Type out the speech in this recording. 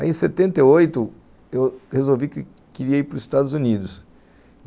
Aí, em setenta e oito, eu resolvi que queria ir para os Estados Unidos.